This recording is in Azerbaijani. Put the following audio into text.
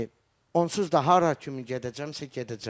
Yəni onsuz da hara kimi gedəcəmsə, gedəcəm.